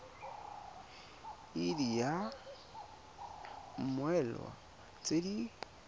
id ya mmoelwa tse di